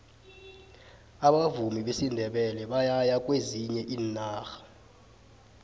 abavumi besindebele bayaya kwezinye iinarha